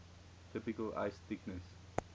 typical ice thickness